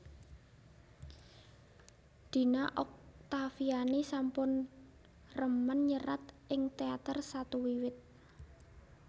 Dina Oktaviani sampun remen nyerat ing teater satu wiwit